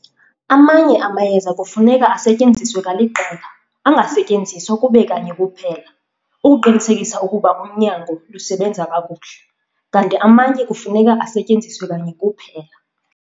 Amanye amayeza kufuneka asetyenziswe kaliqela, angasetyenziswa kube kanye kuphela, ukuqinisekisa ukuba unyango lusebenza kakuhle, kanti amanye kufuneka asetyenziswe kanye kuphela.